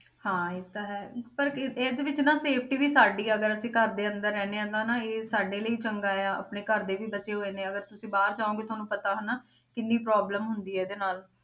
ਹਾਂ ਇਹ ਤਾਂ ਪਰ ਇਹਦੇ ਵਿੱਚ ਨਾ safety ਵੀ ਸਾਡੀ ਹੈ ਅਗਰ ਅਸੀਂ ਘਰ ਦੇ ਅੰਦਰ ਰਹਿੰਦੇ ਹਾਂ ਨਾ ਤਾਂ ਇਹ ਸਾਡੇ ਲਈ ਚੰਗਾ ਆ, ਆਪਣੇ ਘਰਦੇ ਵੀ ਬਚੇ ਹੋਏ ਨੇ, ਅਗਰ ਤੁਸੀਂ ਬਾਹਰ ਜਾਓਗੇ ਤੁਹਾਨੂੰ ਪਤਾ ਹਨਾ ਕਿੰਨੀ problem ਹੁੰਦੀ ਹੈ ਇਹਦੇ ਨਾਲ